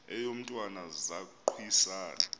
eyo mntwana zaquisana